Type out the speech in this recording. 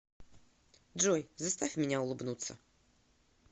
джой заставь меня улыбнуться